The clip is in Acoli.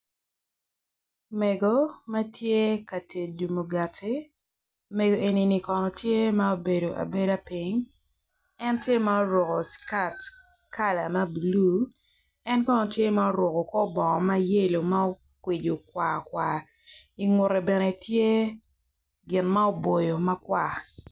Mego ma tye ka tedo mugati mego enini kono tye ma obedo abeda piny en tye ma oruko kala ma blu en kono tye ma oruko kor bongo ma yelo ma okwico kwar kwar ingute bene tye gin ma oboyo makwar.